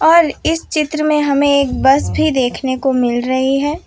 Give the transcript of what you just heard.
और इस चित्र मैं हमे एक बस भी देखने को मिल रही हैं।